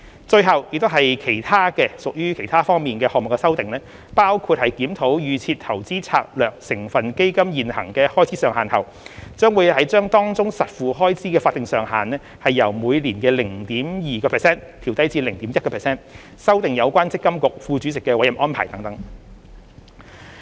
最後是屬於其他項目方面的修訂，包括在檢討預設投資策略成分基金現行的開支上限後，把當中的實付開支法定上限由每年 0.2% 調低至 0.1%、修訂有關積金局副主席的委任安排等。